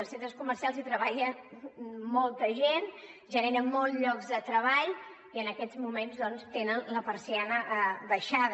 als centres comercials hi treballa molta gent generen molts llocs de treball i en aquests moments doncs tenen la persiana abaixada